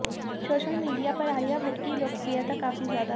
social media पर आलिया भट्ट् की लोकप्रियता काफी ज्यादा हैं